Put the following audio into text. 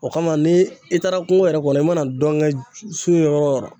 O kama , ni i taara kungo yɛrɛ kɔnɔ , i mana dɔn kɛ su yɔrɔ o yɔrɔ.